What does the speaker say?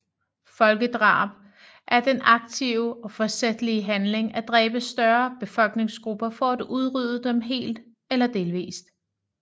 Folkedrab er den aktive og forsætlige handling at dræbe større befolkningsgrupper for at udrydde dem helt eller delvist